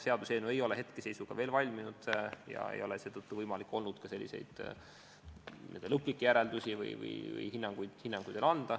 Seaduseelnõu ei ole hetkeseisuga veel valminud ja seetõttu ei ole olnud võimalik ka lõplikke järeldusi teha või hinnanguid anda.